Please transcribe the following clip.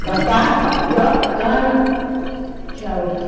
Plantava só mandioca, cana, tinha outro